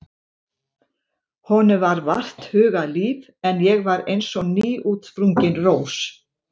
Honum var vart hugað líf en ég var eins og nýútsprungin rós.